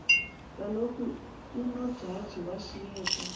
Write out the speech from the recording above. kaloku unojaji washiyeka